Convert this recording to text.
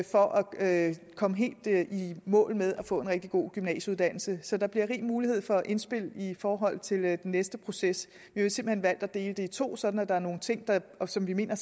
for at komme helt i mål med at få en rigtig god gymnasieuddannelse så der bliver rig mulighed for indspil i forhold til den næste proces vi har simpelt hen valgt at dele det i to sådan at der er nogle ting som vi mener